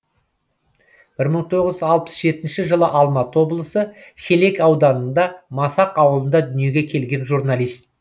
бір мың тоғыз жүз алпыс жетінші жылы алматы облысы шелек ауданында масақ ауылында дүниеге келген журналист